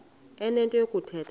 enento yokuthetha ke